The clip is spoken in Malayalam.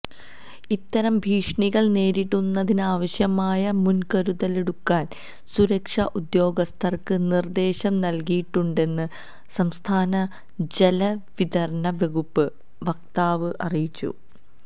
ഇത്തരം ഭീഷണികള് നേരിടുന്നതിനാവശ്യമായ മുന്കരുതലെടുക്കാന് സുരക്ഷാ ഉദ്യോഗസ്ഥര്ക്ക് നിര്ദേശം നല്കിയിട്ടുണ്ടെന്ന് സംസ്ഥാന ജലവിതരണ വകുപ്പ് വക്താവ് അറിയിച്ചു